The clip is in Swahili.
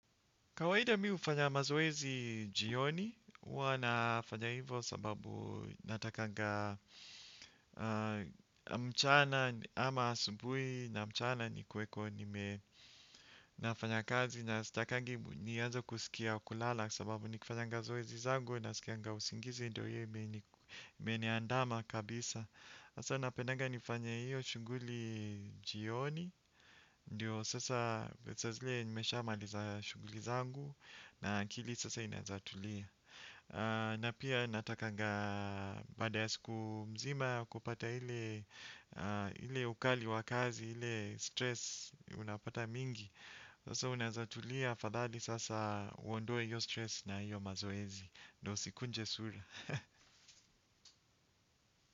Kawaida mi ufanya mazoezi jioni, uwa nafanya hivo sababu natakanga mchana ama asubui na mchana nikueko nime nafanya kazi na sitakangi nianze kusikia kulala sababu ni kifanyanga zoezi zangu nasikianga usingizi ndo iyo imeniandama kabisa. Hasa napenaga nifanye iyo shughuli jioni. Ndio sasa saa zile nimeshamaliza shughuli zangu. Na akili sasa inaeza tulia. Na pia natakanga baada ya siku mzima kupata ile ukali wa kazi ile stress unapata mingi. Sasa unaezatulia afadhali sasa uondoe hiyo stress na hiyo mazoezi. Ndo usikunje sura.